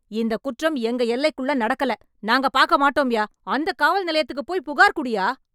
இந்த குற்றம் எங்க எல்லைக்குள்ளே நடக்கல, நாங்க பாக்க மாட்டோம்யா... அந்த காவல் நிலையத்துக்கு போயி புகார் குடுய்யா.